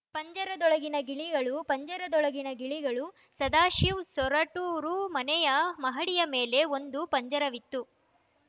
ಪಂಜರದೊಳಗಿನ ಗಿಳಿಗಳು ಪಂಜರದೊಳಗಿನ ಗಿಳಿಗಳು ಸದಾಶಿವ್‌ ಸೊರಟೂರು ಮನೆಯ ಮಹಡಿಯ ಮೇಲೆ ಒಂದು ಪಂಜರವಿತ್ತು